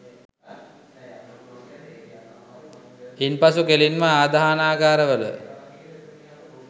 ඉන් පසු කෙළින්ම ආදාහනාගාර වල